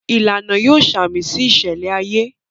Ìlànà yóò samisi iṣẹlẹ ayé